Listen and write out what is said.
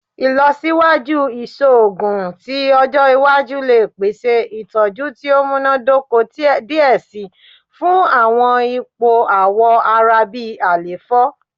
Ilọsiwaju iṣoogun ti ọjọ iwaju le pese itọju ti o munadoko diẹ sii fun awọn ipo awọ ara bi àléfọ